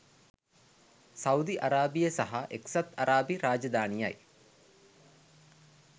Saudi අරාබිය සහ එක්සත් අරාබි රාජධානියයි.